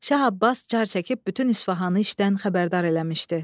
Şah Abbas car çəkib bütün İsfahanı işdən xəbərdar eləmişdi.